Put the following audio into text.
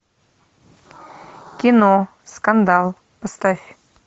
кино скандал поставь